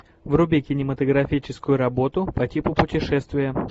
вруби кинематографическую работу по типу путешествия